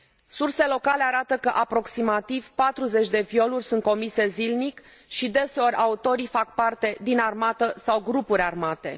Surse locale arată că aproximativ 40 de violuri sunt comise zilnic și, deseori, autorii fac parte din armată sau grupuri armate.